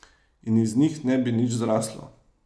In iz njih ne bi nič zraslo.